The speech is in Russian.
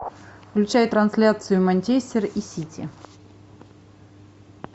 включай трансляцию манчестер и сити